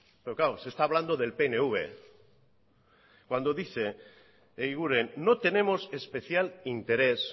pero claro se está hablando del pnv cuando dice eguiguren no tenemos especial interés